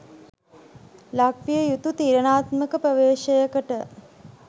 ලක්විය යුතු තීරණාත්මක ප්‍රවේශයකට